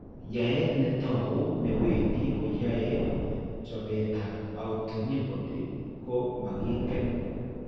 Yaayet ne tau ne wendi ko yaaye chopeetap autoanibody ko making'en.